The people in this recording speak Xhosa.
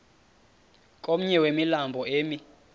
komnye wemilambo emi